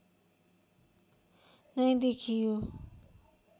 नै देखियो